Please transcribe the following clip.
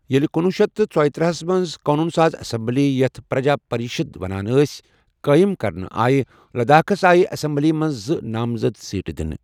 ییلہِ کنۄہ شیتھ ژیٕتر ہس منز قونوٗن ساز ایسمبلی ، یتھ پر٘جا پرِشد ونان ٲس ، قٲیم كرنہٕ آیہ، لداخس آیہ ایسمبلی منز زٕ نامزد سیٹہٕ دٕنہٕ ۔